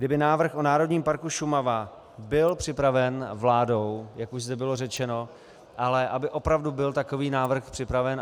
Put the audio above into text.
Kdyby návrh o Národním parku Šumava byl připraven vládou, jak už zde bylo řečeno, ale aby opravdu byl takový návrh připraven.